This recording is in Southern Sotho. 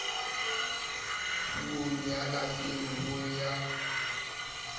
puong ya lapeng ho ya